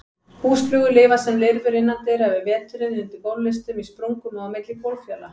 Húsflugur lifa sem lirfur innandyra yfir veturinn, undir gólflistum, í sprungum og á milli gólffjala.